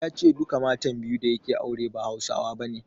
Ya ce duka matan biyu da yake aure ba Hausawa bane.